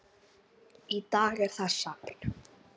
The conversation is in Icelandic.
Í dag er það safn.